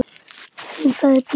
Hún sagði: Bíddu pabbi.